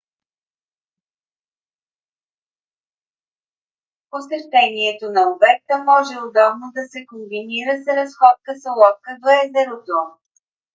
посещението на обекта може удобно да се комбинира с разходка с лодка до езерото